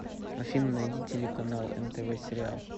афина найди телеканал нтв сериал